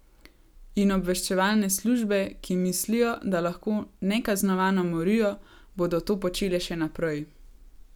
In obveščevalne službe, ki mislijo, da lahko nekaznovano morijo, bodo to počele še naprej.